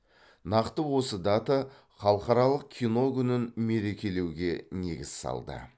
нақты осы дата халықаралық кино күнін мерекелеуге негіз салды